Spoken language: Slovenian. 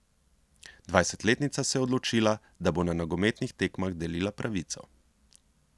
Dvajsetletnica se je odločila, da bo na nogometnih tekmah delila pravico.